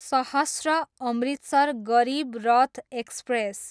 सहश्र, Amritsar Garib Rath express